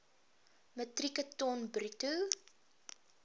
metrieke ton bruto